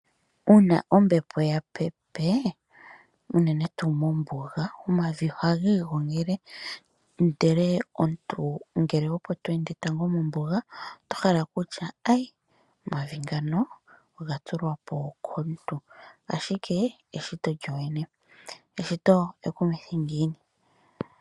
Uuna ombepo yapepe unene tuu mombuga, omavi oha giigongele ndee omuntu ngele opo to ende lwotango mombuga otohala kutya omavi ngano ogatulwapo komuntu, ashike eshito lyoyene. Eshito ekumithi ngiini.